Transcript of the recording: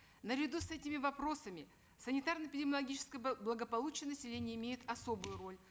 наряду с этими вопросами санитарно эпидемиологическое благополучие населения имеет особую роль